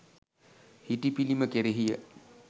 හිටි පිළිම කෙරෙහිය.